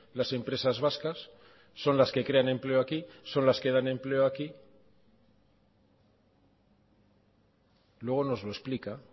las empresas vascas son las que crean empleo aquí son las que dan empleo aquí luego nos lo explica